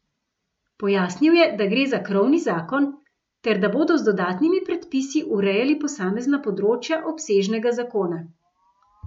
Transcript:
Pojasnil je, da gre za krovni zakon ter da bodo z dodatnimi predpisi urejali posamezna področja, obsežnega zakona.